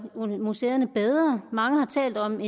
museerne bedre mange har talt om